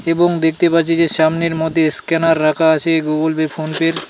এবং দেখতে পাচ্ছি যে সামনের মধ্যে স্ক্যানার রাখা আছে গুগল পে ফোন পে -র ।